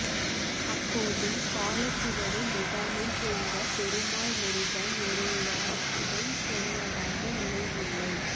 அப்போது காலச்சுவடு முகாமைச் சேர்ந்த பெருமாள்முருகன் ஒரு வார்த்தை சொன்னதாக நினைவில்லை